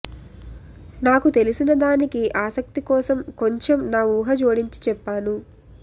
నాకు తెలిసిన దానికి ఆసక్తి కోసం కొంచెం నా ఊహ జోడించి చెప్పాను